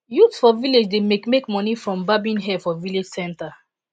youths for village dey make make money from barbing hair for village centre